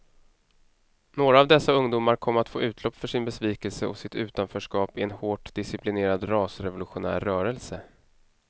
Några av dessa ungdomar kom att få utlopp för sin besvikelse och sitt utanförskap i en hårt disciplinerad rasrevolutionär rörelse.